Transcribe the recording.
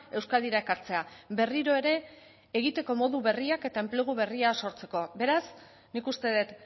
euskadira ekartzea berriro ere egiteko modu berriak eta enplegu berria sortzeko beraz nik uste dut